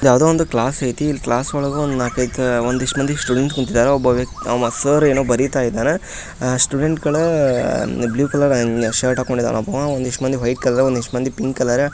ಯಾವುದೋ ಒಂದು ಕ್ಲಾಸ್ ಐತಿ ಈ ಕ್ಲಾಸ್ ಒಳಗೆ ಒಂದು ನಾಲ್ಕೈದು ಒಂದಿಷ್ಟು ಮಂದಿ ಸ್ಟೂಡೆಂಟ್ ಕುಂತಿದ್ದಾರೆ. ಸರ್ ಏನೋ ಬರೀತಾ ಇದಾರ ಸ್ಟೂಡೆಂಟ್ ಗಳು ಬ್ಲೂ ಕಲರ್ ಶರ್ಟ್ ಹಾಕೊಂಡ್ ಇದ್ದಾರೆ. ಒಂದಿಷ್ಟು ಮಂದಿ ವೈಟ್ ಕಲರ್ ಒಂದಿಷ್ಟು ಮಂದಿ ಪಿಂಕ್ ಕಲರ್ --